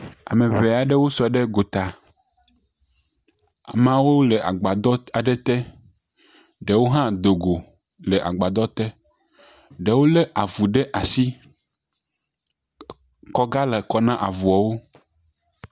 Ame ŋɛ aɖewo sɔ ɖe go ta. Amea wole agbaɖɔ aɖe te. Ɖewo hã do le agbadɔ te, ɖewo le avu ɖe asi. Kɔ ga le kɔ ne avuawo.